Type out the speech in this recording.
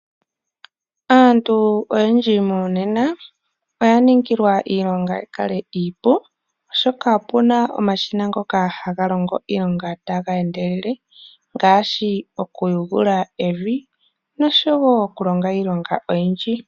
Aantu oyendji monena oya ningilwa iilonga yi kale iipu, oshoka opu na omashina ngoka haga longo iilonga taga endelele ngaashi okuthethenga evi noshowo okulonga iilonga oyindji.